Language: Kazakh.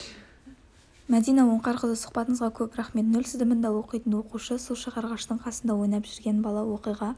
мәдина оңғарқызы сұхбатыңызға көп рақмет нөл сыныбында оқитын оқушы су шығарғыштың қасында ойнап жүрген бала оқиға